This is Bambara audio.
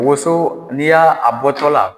Woso n'i y'a bɔtɔ la